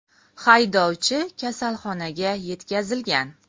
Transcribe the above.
Haydovchi kasalxonaga yetkazilgan.